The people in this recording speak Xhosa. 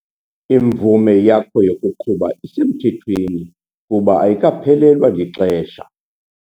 Imvume yakho yokuqhuba isemthethweni kuba ayikaphelelwa lixesha.